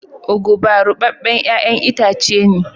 "Ugba" rubeben yayan itace ne.